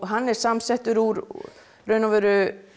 hann er samsettur úr raun og veru